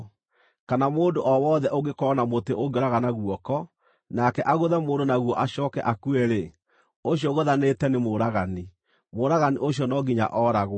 Kana mũndũ o wothe ũngĩkorwo na mũtĩ ũngĩũragana guoko, nake agũthe mũndũ naguo acooke akue-rĩ, ũcio ũgũthanĩte nĩ mũũragani; mũũragani ũcio no nginya ooragwo.